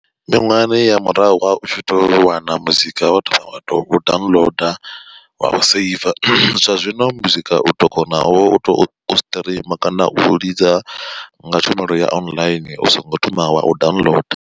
Miṅwahani ya murahu wa u tshi to wana muzika wo thoma wa to downloader wa u saver, zwa zwino muzika u to konavho u to streamer kana u lidza nga tshumelo ya online u songo thoma wa u downloader.